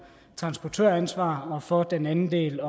transportøransvar og for den anden del